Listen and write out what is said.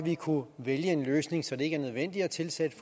vi kunne vælge en løsning så det ikke er nødvendigt at tilsætte